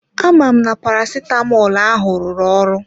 Amam na parasitamọl ahụ rụrụ ọrụ?